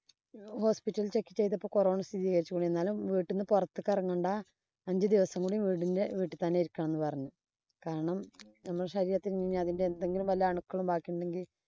hospital check ചെയ്തപ്പോ corona സ്ഥിതീകരിച്ചു. എന്നാലും വീട്ടീന്ന് പുറത്തു കറങ്ങണ്ട. അഞ്ചു ദിവസം കൂടെ വീടിന്‍റെ വീട്ടി തന്നെയിരിക്കണം എന്ന് പറഞ്ഞു. കാരണം നമ്മുടെ ശരീരത്തില്‍ ഇനി അതിന്‍റെ എന്തെങ്കിലും അണുക്കളും ബാക്കിയുണ്ടെങ്കില്‍